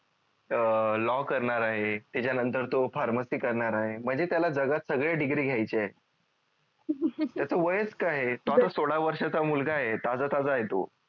अं law करणार आहे. त्याचनंतर तो pharmacy करणार आहे म्हणजे त्याला जगात सगळे degree घ्यायचे आहे त्याच वयचं काय आहे तो आता सोळा वर्षाचा मुलगा आहे ताजा ताजा आहे तो